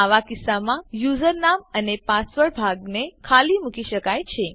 આવા કીસ્સામાં યુઝરનામ અને પાસવર્ડ ભાગને ખાલી મૂકી શકાય છે